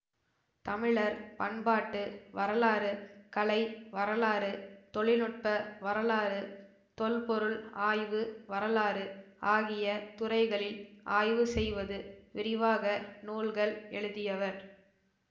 தமிழர் பண்பாட்டு வரலாறு கலை வரலாறு தொழில் நுட்ப வரலாறு தொல்பொருள் ஆய்வு வரலாறு ஆகிய துறைகளில் ஆய்வுசெய்வது விரிவாக நூல்கள் எழுதியவர்